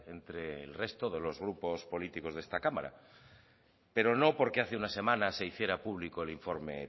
entre el resto de los grupos políticos de esta cámara pero no porque hace una semana se hiciera público el informe